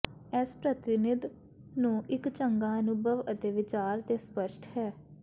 ਇਸ ਪ੍ਰਤੀਨਿਧ ਨੂੰ ਇੱਕ ਚੰਗਾ ਅਨੁਭਵ ਅਤੇ ਵਿਚਾਰ ਦੇ ਸਪੱਸ਼ਟ ਹੈ